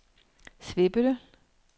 Svebølle